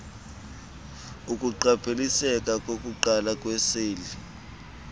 ukuqapheliseka kokuqala kweeseli